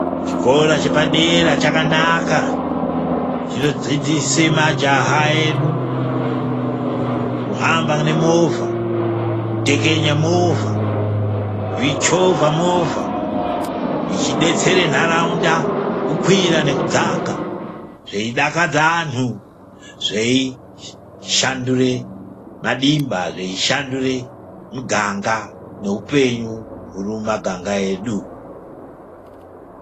Chikora chepadera chakanaka chinodzidzise majaha edu kuhamba nemovha, kutekenya movha, kuichovha movha ichidetsera ntaraunda kukwira nekudzaka zveidakadza antu zveishandura madimba,, zvishandure muganga nehupenyu huri mumaganga edu.